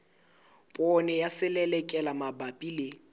poone ya selelekela mabapi le